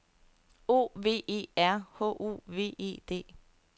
O V E R H O V E D